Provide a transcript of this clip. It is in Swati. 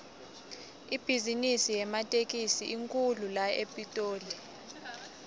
ibhizimisi yematekisi inkhulu la epitoli